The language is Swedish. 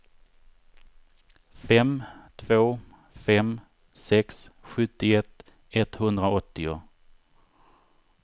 fem två fem sex sjuttioett etthundraåttio